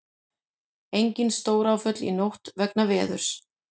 Engin stóráföll í nótt vegna veðurs